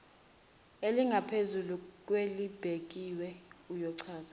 elingaphezulu kwelibekiwe uyochaza